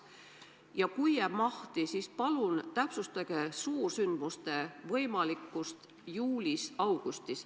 Ja kui jääb mahti, siis palun täpsustage suursündmuste võimalikkust juulis-augustis.